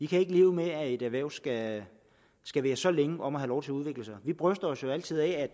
kan ikke leve med at et erhverv skal skal være så længe om at få lov til at udvikle sig vi bryster os jo altid af